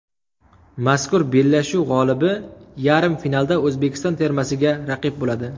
Mazkur bellashuv g‘olibi yarim finalda O‘zbekiston termasiga raqib bo‘ladi.